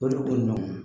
O de ko nɔgɔn